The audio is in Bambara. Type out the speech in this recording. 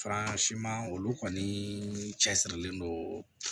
olu kɔni cɛsirilen don